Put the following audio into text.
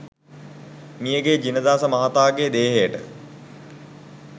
මියගිය ජිනදාස මහතාගේ දේහයට